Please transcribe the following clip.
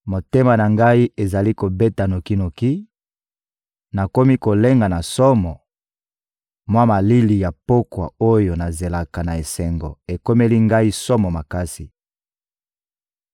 Motema na ngai ezali kobeta noki-noki, nakomi kolenga na somo, mwa malili ya pokwa oyo nazelaka na esengo ekomeli ngai somo makasi.